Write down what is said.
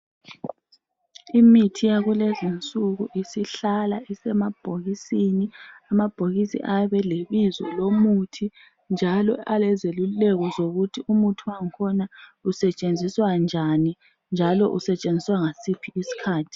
imithi yakulezinsuku isihlala isemabhokisini amabhokisi ayabe elebizo lomuthi njalo alezeluleko zokuthi umuthi wakhona usetshenziswa njani njalo usetshenziswa ngasiphi isikhathi